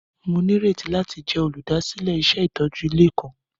Mo nírètí láti jẹ olúdásílẹ̀ iṣẹ itójú ilé kan.